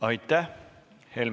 Aitäh!